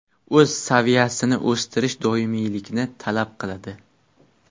O‘z saviyasini o‘stirish doimiylikni talab qiladi.